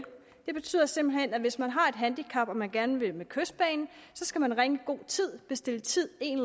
det betyder simpelt hen at hvis man har et handicap og man gerne vil med kystbanen skal man ringe i god tid bestille tid en